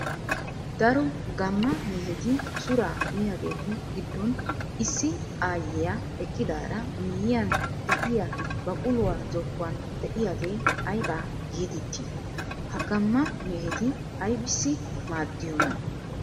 Daro gamma mehetti suraa miyagetu gidon issi aayiya eqqidaari miyiyan de'iyaa baquluwaa zokuwan de'iyaage ayba geetetti? Ha gamma mehetti aybissi maadiyoona?